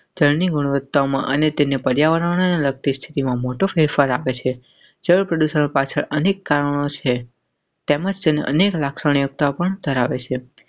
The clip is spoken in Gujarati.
ટ્રેની ગુણવત્તામાં અને તેને પર્યાવરણને લગતી સ્થિતિમાં મોટો ફેરફાર આવે છે. જળ પ્રદૂષણ પાછળ અનેક કારણો સે. તા વણઝારાવેશે.